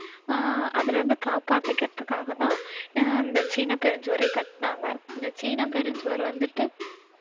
ஆஹ் அதுல இருந்து காப்பாத்திக்கத்தான் ஆஹ் இந்த சீன பெருஞ்சுவரே கட்டினாங்க. இந்த சீன பெருஞ்சுவர் வந்திட்டு